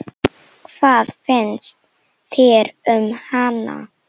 Hvað finnst þér um hana?